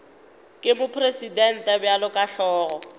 ke mopresidente bjalo ka hlogo